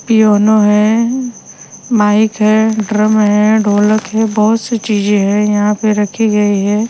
Piano है mike है drum है ढोलक है बहुत सी चीजें हैं यहां पे रखी गई है।